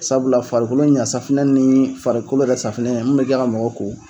Sabula farikolo ɲa safuna ni farikolo yɛrɛ safunɛ min mɛ kɛ ka mɔgɔ ko